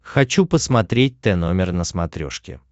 хочу посмотреть тномер на смотрешке